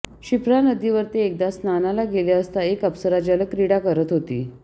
क्षिप्रा नदीवर ते एकदा स्नानाला गेले असता एक अप्सरा जलक्रीडा करत होती